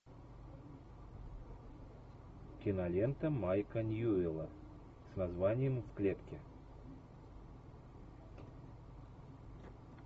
кинолента майка ньюэлла с названием в клетке